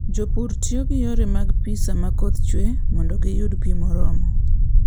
Jopur tiyo gi yore mag pi sama koth chue mondo giyud pi moromo.